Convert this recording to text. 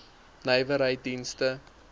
nywerheiddienste